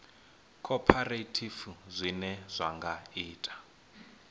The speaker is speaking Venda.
khophorethivi zwine zwa nga ita